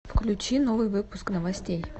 включи новый выпуск новостей